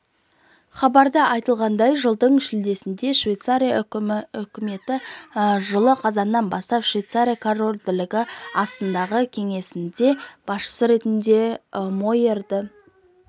хабарда айтылғандай жылдың шілдесінде швеция үкіметі жылы қазаннан бастап швеция корольдігінің астанадағы кеңсесінде басшысы ретіндем фойерді